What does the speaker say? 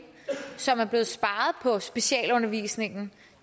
som er blevet sparet på specialundervisningen